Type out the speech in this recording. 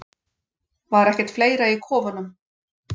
Var ekkert fleira í kofunum?